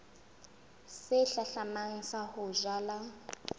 se hlahlamang sa ho jala